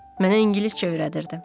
Mənə ingiliscə öyrədirdi.